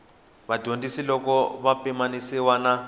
vadyondzi loko ya pimanisiwa na